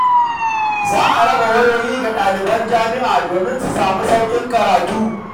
Za a raba wayoyi ga daliban jami’a domin su sami sauƙin karatu.